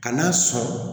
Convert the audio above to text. Kan'a sɔrɔ